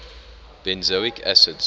benzoic acids